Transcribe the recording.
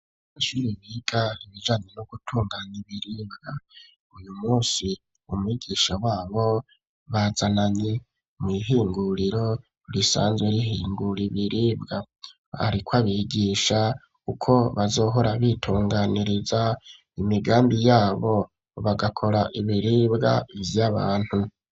Abanyeshure biga ibijanye no gutunganya ibiribwa. Uyu munsi umwigisha wabo bazananye mw'ihinguriro risanzwe rihingura ibiribwa. Ariko abigisha uko bazohora bitunganiriza imigambi yabo, bagakora ibiribwa vy'abantu.